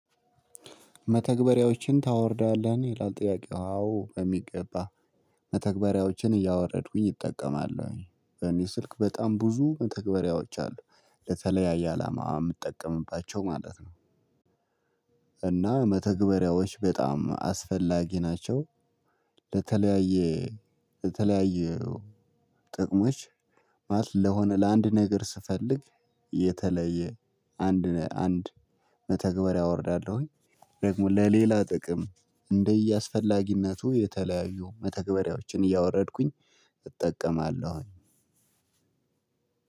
መተግበሪያዎችን ታወርዳለህ ይላል ጥያቄው አዎ በሚገባ መተግበሪያዎችን እያወረድኩኝ እጠቀማለሁኝ በእኔ ስልክ በጣም ብዙ መተግበሪያዎች አሉ ለተለያየ አላማ የምጠቀምባቸው ማለት ነው። እና መተግበሪያዎች በጣም አስፈላጊ ናቸው። ለተለያየ ለተለያየው ጥቅሞች ማለት ለሆነ ለአንድ ነገር ስፈልግ የተለየ አንድ አንድ መተግበሪያ አወርዳለሁኝ። ደግሞ ለሌላ ጥቅም እንደያስፈላጊነቱ የተለያዩ መተግበሪያዎችን እያወረድኩኝ እጠቀማለሁኝ።